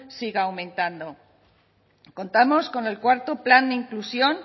siga aumentando contamos con el cuarto plan de inclusión